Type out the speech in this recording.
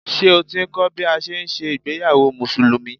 Ṣé o ti ń kọ́ bí a ṣe ń ṣe ìgbéyàwó Musùlùmí?